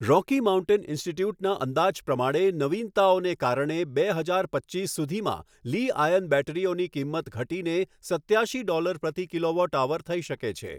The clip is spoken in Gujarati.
રોકી માઉન્ટેન ઇન્સ્ટિટ્યૂટના અંદાજ પ્રમાણે નવીનતાઓને કારણે બે હજાર પચ્ચીસ સુધીમાં લિ આયન બેટરીઓની કિંમત ઘટીને સત્યાશી ડૉલર પ્રતિ કિલોવોટ અવર થઈ શકે છે.